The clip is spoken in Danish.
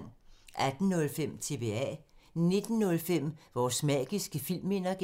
18:05: TBA 19:05: Vores magiske filmminder (G)